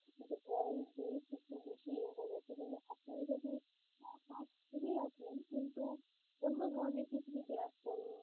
কিন্তু oil, beef একটু বেশিই হয়ে গেছে কিন্তু আপনারা যদি half করেই রাখলেন কিন্তু অন্য ধরণের কিছু যদি রাখতেন